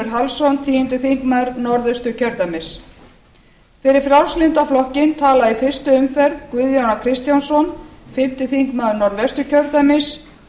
hallsson tíundi þingmaður norðausturkjördæmis fyrir frjálslynda flokkinn tala í fyrstu umferð guðjón a kristjánsson fimmti þingmaður norðvesturkjördæmis